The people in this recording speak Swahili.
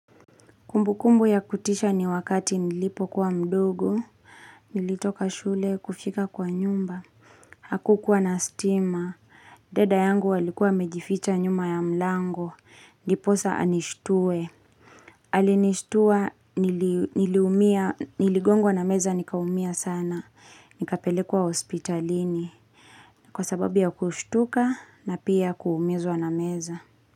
Kumbu kumbu ya kutisha ni wakati nilipo kuwa mdogo, nilitoka shule kufika kwa nyumba. Haku kuwa na stima. Dada yangu alikuwa amejificha nyuma ya mlango. Ndipo sasa anishtue. Alinishtua niligongwa na meza nikaumia sana. Nikapelekwa hospitalini. Kwa sababu ya kushtuka na pia kuumizwa na meza.